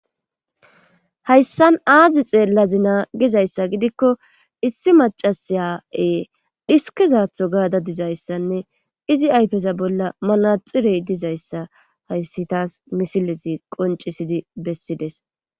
Hayssan aazi xeellazina gizayssa gidikko issi macasaya7e dhiskezaatho gaada dizayssanne izi aypeza bolla manaxirey dizayssa hayssi taas misilezi qoncisidi bessides